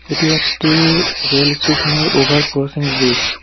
এটি একটি রেল স্টেশনের ওভার ক্রসিং ব্রিজ ।